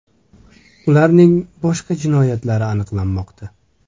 Ularning boshqa jinoyatlari aniqlanmoqda.